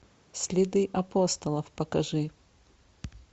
следы апостолов покажи